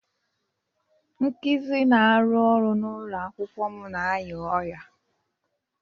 Ngizi na-arụ ọrụ n'ụlọ akwụkwọ m na-arịa ọrịa.